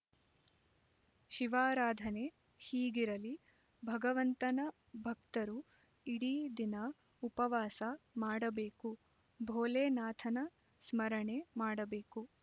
ಶಿವರಾಧನೆ ಹೀಗರಲಿ ಭಗವಂತನ ಭಕ್ತರು ಇಡೀ ದಿನ ಉಪವಾಸ ಮಾಡಬೇಕು ಭೋಲೆನಾಥನ ಸ್ಮರಣೆ ಮಾಡಬೇಕು